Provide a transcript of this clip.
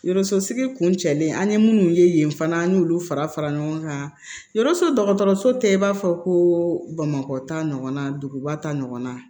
Yɔrɔ sosigi kun cɛlen an ye minnu ye yen fana an y'olu fara fara ɲɔgɔn kan yɔrɔso dɔgɔtɔrɔso tɛ i b'a fɔ ko bamakɔ ta ɲɔgɔnna duguba ta ɲɔgɔnna